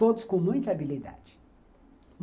Todos com muita habilidade.